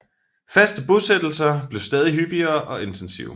Faste bosættelser blev stadig hyppigere og intensive